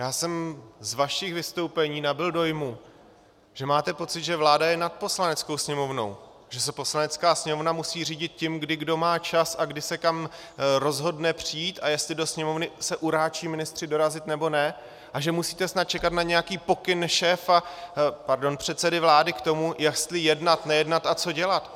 Já jsem z vašich vystoupení nabyl dojmu, že máte pocit, že vláda je nad Poslaneckou sněmovnou, že se Poslanecká sněmovna musí řídit tím, kdy kdo má čas a kdy se kam rozhodne přijít, a jestli do Sněmovny se uráčí ministři dorazit nebo ne, a že musíte snad čekat na nějaký pokyn šéfa, pardon, předsedy vlády k tomu, jestli jednat, nejednat a co dělat.